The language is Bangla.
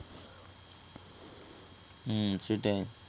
উম সেইটাই